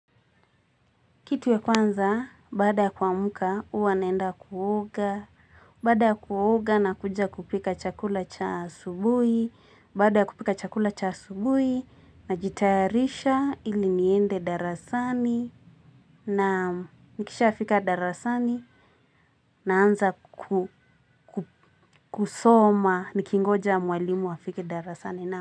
Kitu ya kwanza, baada ya kuamka, huwa naenda kuoga. Baada ya kuoga na kuja kupika chakula cha asubuhi, baada ya kupika chakula cha asubuhi, na jitayarisha ili niende darasani, na nikisha fika darasani, na anza kusoma nikingoja mwalimu afike darasani na.